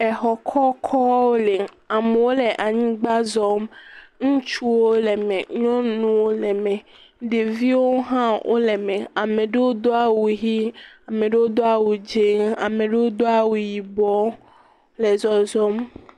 Exɔ kɔkɔwo le. Amewo le anyigba zɔm. Ŋutsuwo le me, nyɔnuwo le me, ɖeviwo hã wole me. ame ewo do awu ʋii. Ame ɖewo do awu dzẽẽ. Ame ɖewo do awu yibɔ le zɔzɔm.